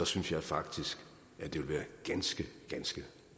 synes jeg faktisk at det vil være ganske ganske